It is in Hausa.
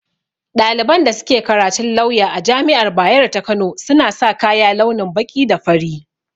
Ɗaliban da suke karatun lawya a jami'ar bayero ta kano, suna sa kaya launin baƙi da fari